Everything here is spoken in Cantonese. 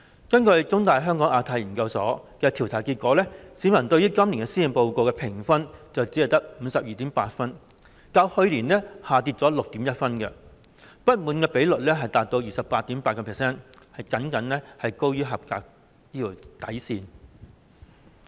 根據香港中文大學香港亞太研究所的調查結果，市民對今年施政報告的評分只有 52.8 分，較去年下跌 6.1 分，表示不滿的受訪者比率達到 28.8%， 僅高於合格的水平。